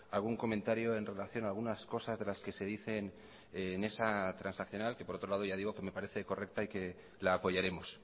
algún comentario en relación a algunas cosas de las que se dicen en esa transaccional que por otro lado ya digo que me parece correcta y que la apoyaremos